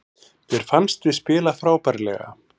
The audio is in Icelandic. Mér fannst við spila frábærlega